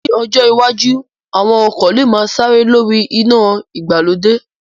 Ní ọjọ́ iwájú, àwọn ọkọ̀ lè máa sáré lórí iná ìgbàlódé